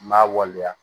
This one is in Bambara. N b'a waleya